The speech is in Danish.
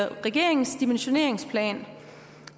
regeringens dimensioneringsplan